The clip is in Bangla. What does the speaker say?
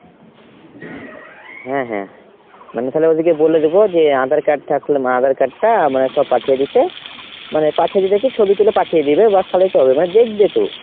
হ্যাঁ হ্যাঁ। মানে তাহলে ওদেরকে বলে দেব যে আঁধার card থাকলে আঁধার card টা মানে সব পাঠিয়ে দিতে। মানে পাঠিয়ে দিতে কি ছবি তুলে পাঠিয়ে দিবে Whatsapp এই তো হবে মানে দেখবে তো !